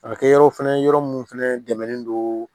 A bɛ kɛ yɔrɔ fɛnɛ yɔrɔ minnu fɛnɛ dɛmɛlen don